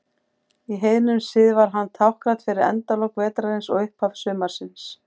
Í heiðnum sið var hann táknrænn fyrir endalok vetrarins og upphaf sumarsins.